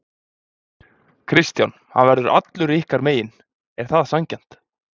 Kristján: Hann verður allur ykkar megin, er það sanngjarnt?